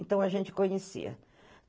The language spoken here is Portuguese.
Então a gente conhecia.